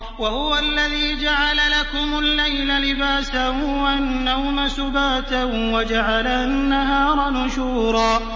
وَهُوَ الَّذِي جَعَلَ لَكُمُ اللَّيْلَ لِبَاسًا وَالنَّوْمَ سُبَاتًا وَجَعَلَ النَّهَارَ نُشُورًا